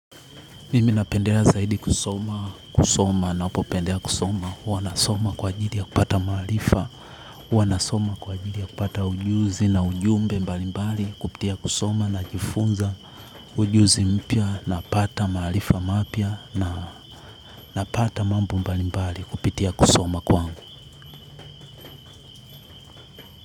Mimi napendelea zaidi kusoma, kusoma na upo pendea kusoma, huwa nasoma kwa ajidia kupata mahalifa, huwa nasoma kwa ajidia kupata ujuzi na ujumbe mbali mbali kupitia kusoma na jifunza ujuzi mpia na pata mahalifa mapia na napata mambo mbali mbali kupitia kusoma kwangu.